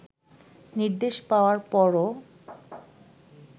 নির্দেশ পাওয়ার পরও